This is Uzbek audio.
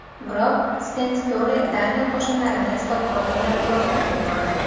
Biroq Sten Sture Daniya qo‘shinlarini Stokgolmdan uloqtirib yubordi.